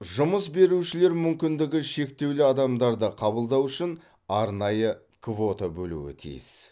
жұмыс берушілер мүмкіндігі шектеулі адамдарды қабылдау үшін арнайы квота бөлуі тиіс